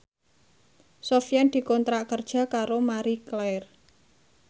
Sofyan dikontrak kerja karo Marie Claire